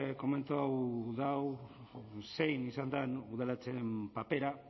komentau dau zein izan dan udalatzearen papera